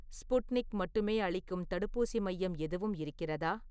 Sputnik மட்டுமே அளிக்கும் தடுப்பூசி மையம் எதுவும் இருக்கிறதா?